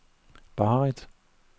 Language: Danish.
Barrit